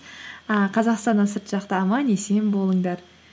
а қазақстаннан сырт жақта аман есен болыңдар